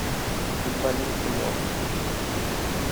футболисты можешь включить